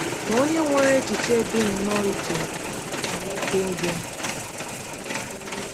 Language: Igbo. Ma onye nwere echiche dị nnọọ iche nwere ike ịbịa.